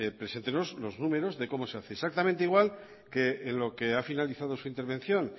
preséntenos los números de cómo se hace exactamente igual que en lo que ha finalizado su intervención